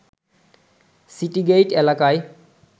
city gate এলাকায়